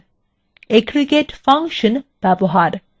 aggregate function ব্যবহার